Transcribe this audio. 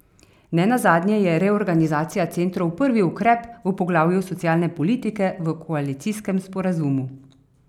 Nenazadnje je reorganizacija centrov prvi ukrep v poglavju socialne politike v koalicijskem sporazumu.